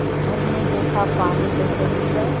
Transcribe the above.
झरने जैसा पानी बह रही है।